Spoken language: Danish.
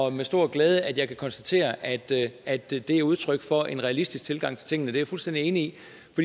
er med stor glæde at jeg kan konstatere at det at det er udtryk for en realistisk tilgang til tingene det er jeg fuldstændig enig